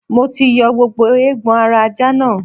Mo ti yọ gbogbo eegbon ara ajá náà.